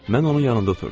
Mən onun yanında oturdum.